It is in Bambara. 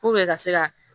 ka se ka